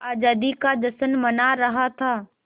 आज़ादी का जश्न मना रहा था